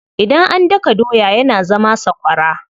Idan an daka doya yana zama sakwara.